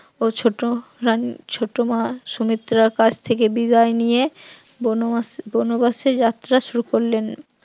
ও ছোট রানী ছোট মা সুমিত্রার কাছ থেকে বিদায় নিয়ে বনবাস বনবাসে যাত্রা শুরু করলেন